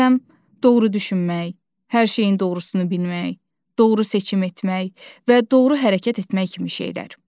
Məsələn, doğru düşünmək, hər şeyin doğrusunu bilmək, doğru seçim etmək, və doğru hərəkət etmək kimi şeylər.